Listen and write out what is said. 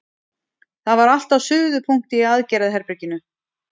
Það var allt á suðupunkti í aðgerðaherberginu.